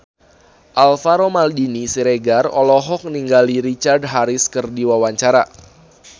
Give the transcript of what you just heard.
Alvaro Maldini Siregar olohok ningali Richard Harris keur diwawancara